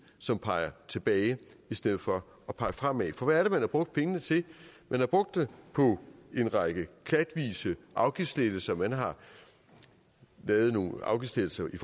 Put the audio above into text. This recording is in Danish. som peger tilbage i stedet for at pege fremad for hvad er det man har brugt pengene til man har brugt dem på en række klatvise afgiftslettelser man har lavet nogle afgiftslettelser i